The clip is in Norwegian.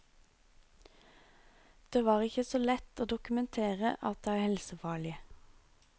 Det var ikke så lett å dokumentere at det er helsefarlig.